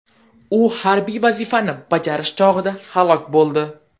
U harbiy vazifani bajarish chog‘ida halok bo‘ldi.